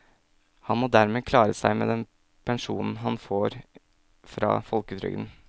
Han må dermed klare seg med den pensjonen han får fra folketrygden.